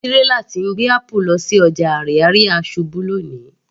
Tírélà tí ń gbé apple lọ sí ọjà Ariaria ṣubú lóni